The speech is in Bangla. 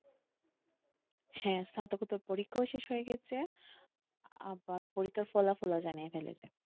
হ্যাঁ স্নাতকোত্তর পরীক্ষাও শেষ হয়ে গেছে আবার পরীক্ষার ফলাফল ও জানিয়ে ফেলেছে,